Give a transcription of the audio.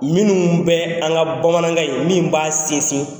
Minnun bɛ an ka bamanankan in min b'a sinsin